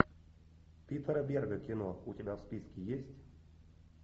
питера берга кино у тебя в списке есть